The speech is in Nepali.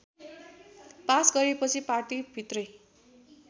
पास गरेपछि पार्टीभित्रै